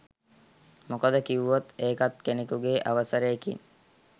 මොකද කිව්වොත් ඒකත් කෙනෙකුගේ අවසරයකින්